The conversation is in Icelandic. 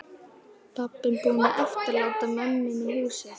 Pabbinn búinn að eftirláta mömmunni húsið.